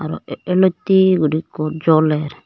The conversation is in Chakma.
aro ee elottey guri ekko joler.